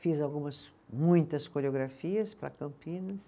Fiz algumas, muitas coreografias para Campinas.